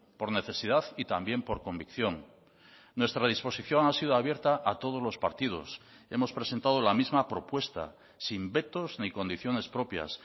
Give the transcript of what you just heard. por necesidad y también por convicción nuestra disposición ha sido abierta a todos los partidos hemos presentado la misma propuesta sin vetos ni condiciones propias